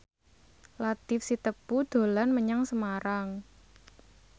Latief Sitepu dolan menyang Semarang